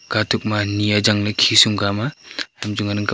katuk ma ani ajang le khisum gama tamchu ngan ang kaple.